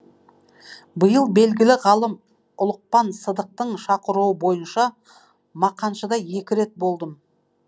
биыл белгілі ғалым ұлықпан сыдықтың шақыруы бойынша мақаншыда екі рет болдым